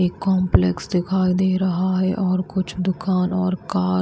एक कंपलेक्स दिखाई दे रहा है और कुछ दुकान और कार --